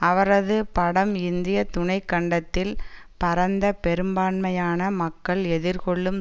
அவரது படம் இந்திய துணை கண்டத்தில் பரந்த பெரும்பான்மையான மக்கள் எதிர்கொள்ளும்